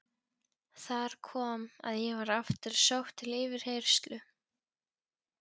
Þar kom að ég var aftur sótt til yfirheyrslu.